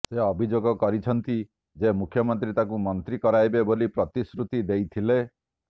ସେ ଅଭିଯୋଗ କରିଛନ୍ତି ଯେ ମୁଖ୍ୟମନ୍ତ୍ରୀ ତାଙ୍କୁ ମନ୍ତ୍ରୀ କରାଇବେ ବୋଲି ପ୍ରତିଶ୍ରୁତି ଦେଇଥିଲେ